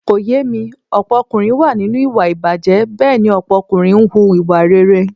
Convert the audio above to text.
Kò yé mi, ọ̀pọ̀ ọkùnrin wà nínú ìwà ìbàjé, Bẹ́ẹ̀ni ọ̀pọ̀ ọkùnrin ń hùwà rere.